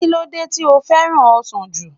Kí lódé to fẹ́ràn ọsàn jù?